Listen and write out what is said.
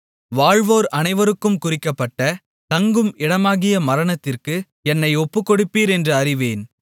வாழ்வோர் அனைவருக்கும் குறிக்கப்பட்ட தங்கும் இடமாகிய மரணத்திற்கு என்னை ஒப்புக்கொடுப்பீர் என்று அறிவேன்